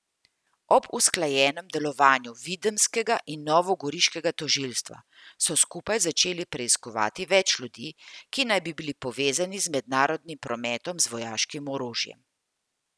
Ob usklajenem delovanju videmskega in novogoriškega tožilstva so skupaj začeli preiskovati več ljudi, ki naj bi bili povezani z mednarodnim prometom z vojaškim orožjem.